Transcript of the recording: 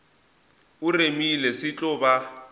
o remile se tlo ba